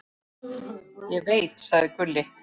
Ég veit, sagði Gulli.